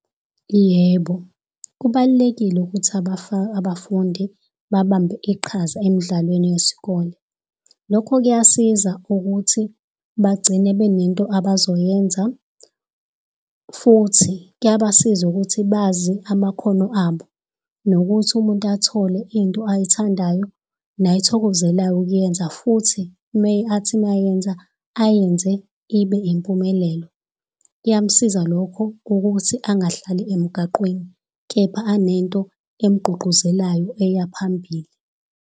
Yebo. Kubalulekile ukuthi abafundi, babambe iqhaza emidlalweni yesikole. Lokho kuyasiza ukuthi bagcine benento abazoyenza. Futhi kuyabasiza ukuthi bazi amakhono abo, nokuthi umuntu athole into ayithandayo, nayithokozelayo ukuyenza futhi athi mayenza, ayenze ibe impumelelo. Kuyamsiza lokho ukuthi angahlali emgaqweni, kepha anento emugqugquzelayo eyaphambili.